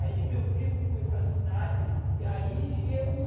Aí meu primo foi para a cidade e aí eu